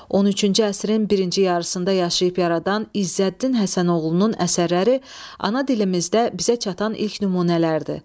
13-cü əsrin birinci yarısında yaşayıb yaradan İzzəddin Həsənoğlunun əsərləri ana dilimizdə bizə çatan ilk nümunələrdir.